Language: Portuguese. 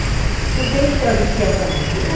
Então eles traduziam para mim.